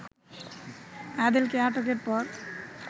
আদিলকে আটকের পর